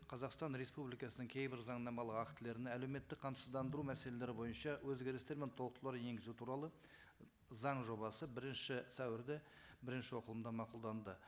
қазақстан республикасының кейбір заңнамалық актілеріне әлеуметтік қамсыздандыру мәселелері бойынша өзгерістер мен толықтырулар енгізу туралы заң жобасы бірінші сәуірде бірінші оқылымда мақұлданды